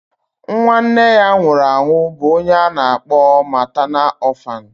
Nwa Nne ya nwụrụ anwụ bụ ọnye ana akpọ maternalu orphanu.